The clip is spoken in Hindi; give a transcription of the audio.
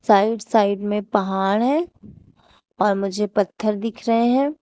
साइड साइड में पहाड़ है और मुझे पत्थर दिख रहे हैं।